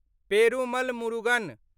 Perumal Murugan